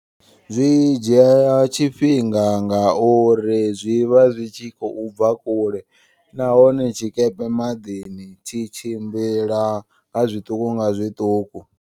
Zwi dzhiya ya tshifhinga ngauri zwivha zwi tshi khou bva kule. Nahone tshikepe maḓini tshi tshimbila nga zwiṱuku nga zwiṱuku.